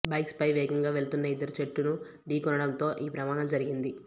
బైక్పై వేగంగా వెళుతున్న ఇద్దరు చెట్టును ఢీకొనడంతో ఈ ప్రమాదం జరిగింది